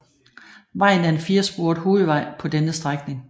Vejen er en firesporet hovedvej på denne strækning